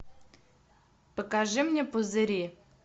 покажи мне пузыри